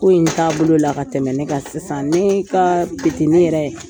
Ko in taabolo la ka tɛmɛn ne kan sisan ne ka petini yɛrɛ